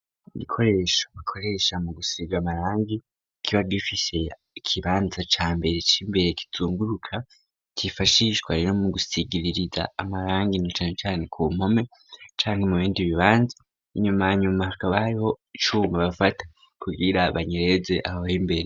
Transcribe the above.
Igikoresho bikoresha mu gusiga amarangi kiba gifishe ikibanza ca mbere c'imbere kizunguruka cifashishwariro mu gusigiririza amarangi inecanecane ku mpome canke mu bindi bibanza inyumanya mu mahaka bariho icuma bafata kugira banyireze ahaho imbere.